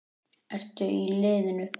Ertu í liðinu?